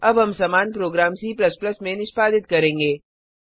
अब हम समान प्रोग्राम C में निष्पादित करेंगे